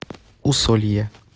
усолье